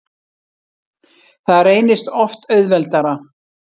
Það reynist oft auðveldara.